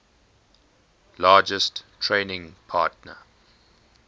largest trading partner